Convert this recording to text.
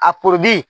A